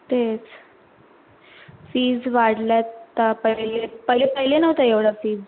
तेच fees वाढल्यात अह पयले पय पयले नव्हत्या एवढ्या fees